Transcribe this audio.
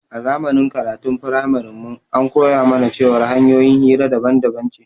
A zamanin karatun framarin mu an koya mana cewar hanƴoyin hira daban daban ce